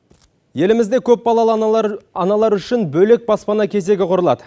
елімізде көпбалалы аналар үшін бөлек баспана кезегі құрылады